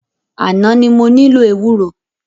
Àná ni mo nílò ewúro.